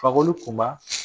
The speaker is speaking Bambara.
Fakoli Kunba.